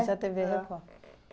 Se a têvê Record.